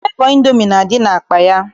Flevọ Indomi na-adị n'akpa ya.